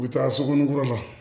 U bɛ taa sokɔnin kura la